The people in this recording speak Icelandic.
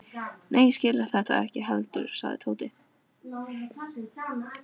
Nei, ég skil þetta ekki heldur sagði Tóti.